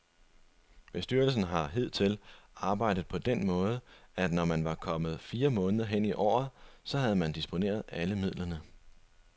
Bestyrelsen har hidtil arbejdet på den måde, at når man var kommet fire måneder hen i året, så havde man disponeret alle midlerne.